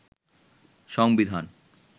সংবিধান